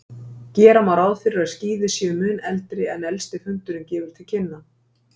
Gera má ráð fyrir að skíði séu mun eldri en elsti fundurinn gefur til kynna.